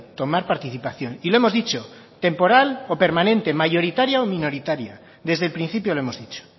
tomar participación y lo hemos dicho temporal o permanente mayoritaria o minoritaria desde el principio lo hemos dicho